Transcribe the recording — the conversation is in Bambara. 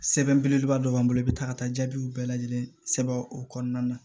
Sɛbɛn belebeleba dɔ b'an bolo i bɛ taa ka taa jaabiw bɛɛ lajɛlen sɛbɛn o kɔnɔna na